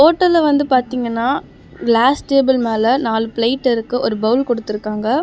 ஓட்டல்ல வந்து பாத்தீங்கன்னா glass table மேல நாலு பிளேட் இருக்கு ஒரு பவுல் குடுத்துருக்காங்க.